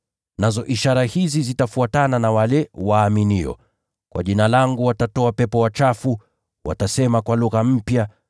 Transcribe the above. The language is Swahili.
Nazo ishara hizi zitafuatana na wanaoamini: Kwa Jina langu watatoa pepo wachafu; watasema kwa lugha mpya;